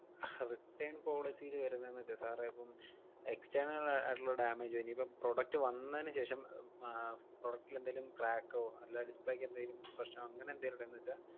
അഹ് return policy ല് വരുന്നേന്നു വെച്ചാ sir ഏ ഇപ്പം external അ~ ആയിട്ടൊള്ള damage ഓ ഇനിയിപ്പം product വന്നേനു ശേഷം ഹും ആഹ് product ൽ എന്തേലും crack ഓ അല്ലാതെ display ക്ക് എന്തേലും പ്രശ്നോ അങ്ങനെന്തേലുണ്ടായെന്നു വെച്ചാ,